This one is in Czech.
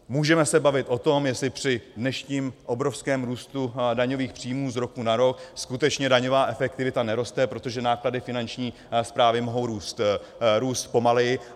Můžeme se bavit o tom, jestli při dnešním obrovském růstu daňových příjmů z roku na rok skutečně daňová efektivita neroste, protože náklady Finanční správy mohou růst pomaleji.